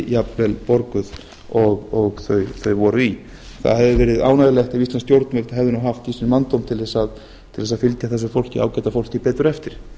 jafnvel borguð og þeir voru í það hefði verið ánægjulegt ef íslensk stjórnvöld hefðu haft í sér manndóm tl þess að fylgja þessu ágæta fólki betur eftir